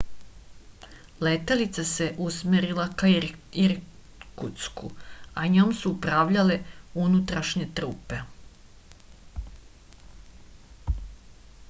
letelica se usmerila ka irkutsku a njom su upravljale unutrašnje trupe